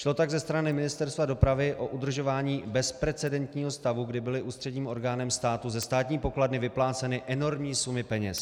Šlo tak ze strany Ministerstva dopravy o udržování bezprecedentního stavu, kdy byly ústředním orgánem státu ze státní pokladny vypláceny enormní sumy peněz.